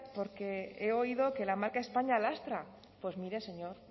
porque he oído que la marca españa lastra pues mire señor